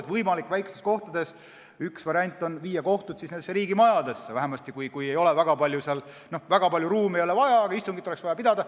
Võimalik variant väikestes kohtades on see, et viia kohtud nendesse riigimajadesse, kui väga palju ruumi ei ole vaja, aga istungit oleks vaja pidada.